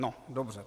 No dobře.